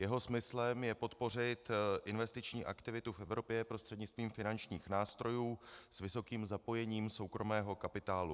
Jeho smyslem je podpořit investiční aktivitu v Evropě prostřednictvím finančních nástrojů s vysokým zapojením soukromého kapitálu.